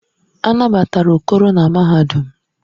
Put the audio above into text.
A nabatara Okoro na mahadum.